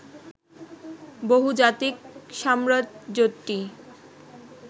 বহুজাতিক সাম্রাজ্যটি